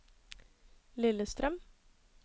Lillestrøm